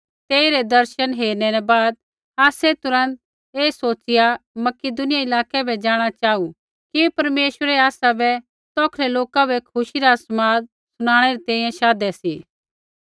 तेइरै दर्शन हेरै न बाद आसै तुरन्त ऐ सोच़िया मकिदुनिया इलाकै बै जाँणा चाहू कि परमेश्वरै आसै बै तौखलै लोका बै खुशी रा समाद शुणाणै री तैंईंयैं शाधै सी